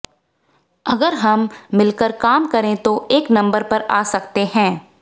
अगर हम मिलकर काम करें तो एक नम्बर पर आ सकते हैं